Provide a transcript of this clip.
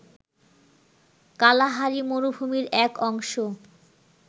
Kalahari মরুভূমির এক অংশ